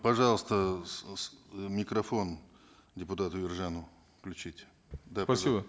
пожалуйста микрофон депутату ержанову включите да спасибо